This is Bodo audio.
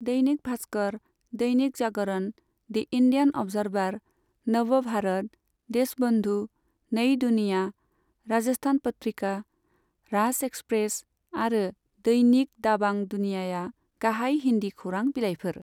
Dainik Bhaskar, Dainik Jagran, the Indian Observer, Nav Bharat, Deshbandhu, Nai Duniya, Rajasthan Patrika, Raj Express आरो दैनिक दाबां दुनियाया गाहाय हिन्दी खौरां बिलाइफोर।